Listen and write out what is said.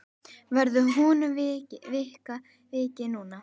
Verður honum vikið núna?